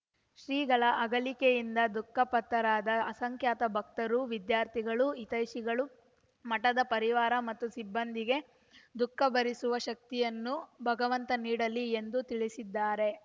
ಶ್ರೀಗಳ ಅಗಲಿಕೆಯಿಂದ ದುಃಖಪ್ತರಾದ ಅಸಂಖ್ಯಾತ ಭಕ್ತರು ವಿದ್ಯಾರ್ಥಿಗಳು ಹಿತೈಷಿಗಳು ಮಠದ ಪರಿವಾರ ಮತ್ತು ಸಿಬ್ಬಂದಿಗೆ ದುಃಖಭರಿಸುವ ಶಕ್ತಿಯನ್ನು ಭಗವಂತ ನೀಡಲಿ ಎಂದು ತಿಳಿಸಿದ್ದಾರೆ